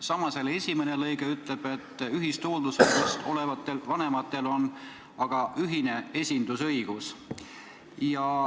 " Samas esimene lõige ütleb, et ühist hooldusõigust omavatel vanematel on ühine esindusõigus.